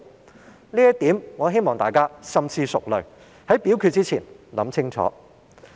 就這一點，我希望大家深思熟慮，在表決之前想清楚。